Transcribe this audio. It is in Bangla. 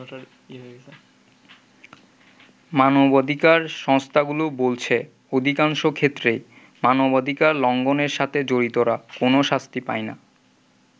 মানবাধিকার সংস্থাগুলো বলছে অধিকাংশ ক্ষেত্রেই মানবাধিকার লঙ্ঘনের সাথে জড়িতরা কোন শাস্তি পায়না।